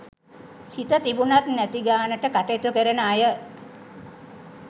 සිත තිබුණත් නැති ගානට කටයුතු කරන අය